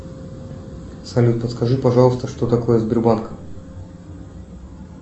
салют подскажи пожалуйста что такое сбербанк